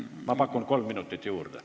Ma pakun kolm minutit juurde.